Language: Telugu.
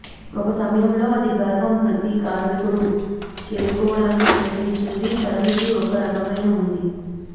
ఒక సమయంలో అది గర్వం ప్రతి కార్మికుడు చేరుకోవడానికి ప్రయత్నిస్తుంది పరిమితి ఒక రకమైన ఉంది